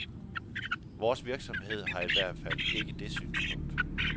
Vores virksomhed har ihvertfald ikke det synspunkt.